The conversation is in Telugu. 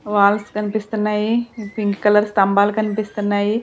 వాల్స్ కనిపిస్తున్నాయి పింక్ కలర్ స్తంభాలు కనిపిస్తున్నాయి.